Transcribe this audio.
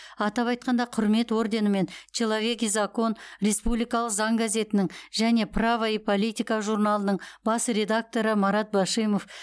атап айтқанда құрмет орденімен человек и закон республикалық заң газетінің және право и политика журналының бас редакторы марат башимов